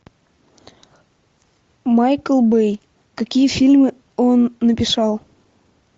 майкл бэй какие фильмы он написал